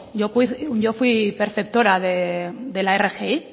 yo fui perceptora de la rgi